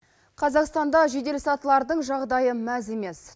қазақстанда жеделсатылардың жағдайы мәз емес